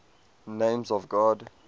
names of god